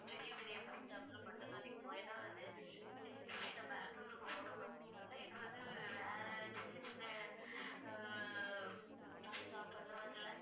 பெரிய பெரிய bus stop ல மட்டும்தான் நிக்கும் ஏன்னா வந்து இது வந்து straight அ பெங்களூர்க்கு போறதுனால இது வந்து வேற சின்ன சின்ன ஆஹ் bus stop அந்த மாதிரி எல்லாம்